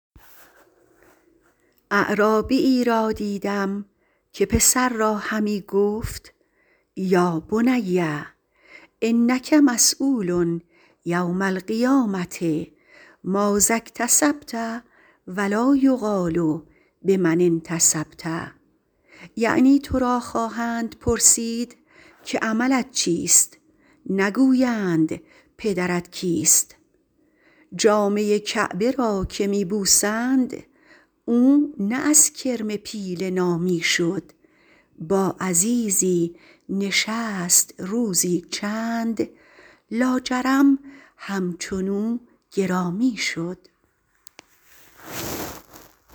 اعرابیی را دیدم که پسر را همی گفت یا بنی انک مسیول یوم القیامة ماذا اکتسبت و لا یقال بمن انتسبت یعنی تو را خواهند پرسید که عملت چیست نگویند پدرت کیست جامه کعبه را که می بوسند او نه از کرم پیله نامی شد با عزیزی نشست روزی چند لاجرم همچنو گرامی شد